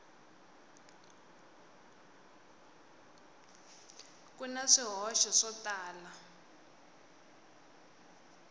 ku na swihoxo swo tala